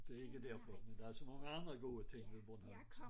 Det ikke derfor men der så mange andre gode ting ved Bornholm